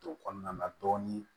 To kɔnɔna na dɔɔnin